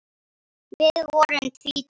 Við vorum tvítug.